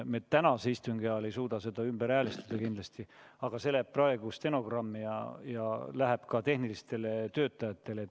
Me tänase istungi ajal ei suuda seda kindlasti ümber häälestada, aga see soov läheb praegu kirja stenogrammi ja antakse edasi ka tehnilistele töötajatele.